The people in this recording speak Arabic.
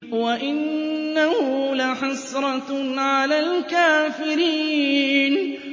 وَإِنَّهُ لَحَسْرَةٌ عَلَى الْكَافِرِينَ